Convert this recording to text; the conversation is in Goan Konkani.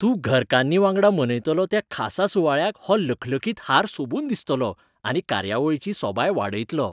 तूं घरकान्नी वांगडा मनयतलो त्या खासा सुवाळ्याक हो लखलखीत हार सोबून दिसतलो, आनी कार्यावळीची सोबाय वाडयतलो.